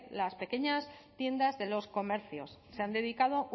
las pequeñas tiendas de los comercios se han dedicado